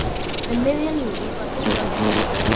Um miðjan júlí var Dúlla litla skírð.